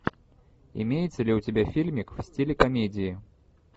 имеется ли у тебя фильмик в стиле комедии